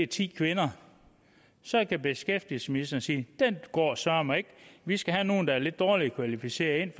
ti kvinder så kan beskæftigelsesministeren sige den går søreme ikke vi skal have nogle ind der er lidt dårligere kvalificeret